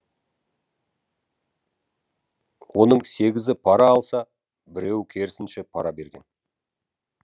оның сегізі пара алса біреуі керісінше пара берген